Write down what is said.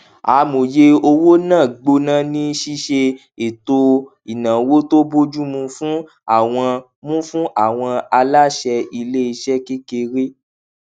amòye owó náà gbóná ní ṣiṣe ètò ináwó tó bójú mu fún àwọn mu fún àwọn aláṣẹ ilé iṣẹ kékeré